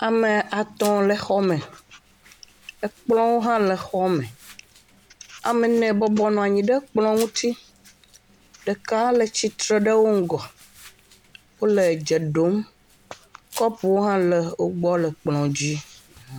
Ame atɔ̃ le xɔme. Ekplɔ̃wo hã le xɔme. Ame ene bɔbɔ nɔ anyi ɖe kplɔ̃ ŋuti. Ɖeka le tsi tre ɖe wo ŋgɔ. Wole dze ɖom. Kɔpowo hã le wogbɔ le kplɔ̃ dzi.